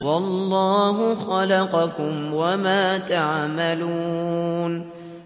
وَاللَّهُ خَلَقَكُمْ وَمَا تَعْمَلُونَ